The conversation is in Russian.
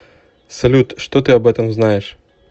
салют что ты об этом знаешь